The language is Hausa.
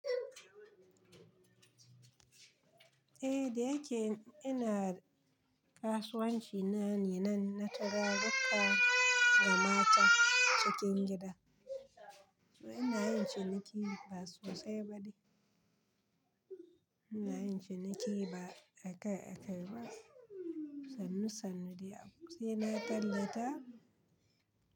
Eh, da yake ina kasuwanci na ne, nan na tura ruka mata cikin gida. Ina yin ciniki ba sosai ba de, ina yin ciniki ba akai-akai ba. Sannu-sannu de a ku sena tallata.